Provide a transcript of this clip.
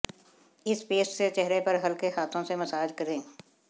इस पेस्ट से चेहरे पर हल्के हाथों से मसाज करें